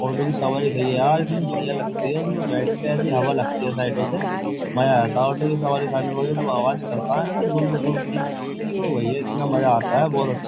auto की सवारी खई है यार इतनी बढ़िया लगती है उसम बैठ के ऐसी हवा लगती है साइडों से मजा आता है ऑटो की सवारी खाने में आवाज करता है ना गुर गुर की ओ भैया इतना मजा आता है बहुत अच्छा --